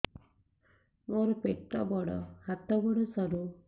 ମୋର ପେଟ ବଡ ହାତ ଗୋଡ ସରୁ